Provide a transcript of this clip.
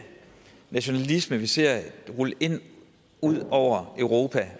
nationalisme vi ser rulle ud over europa